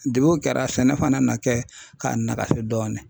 o kɛra sɛnɛ fana na kɛ k'a nagasi dɔɔni